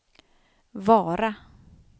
Vara